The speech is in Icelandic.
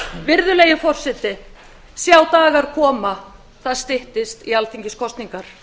virðulegi forseti sjá dagar koma það styttist í alþingiskosningar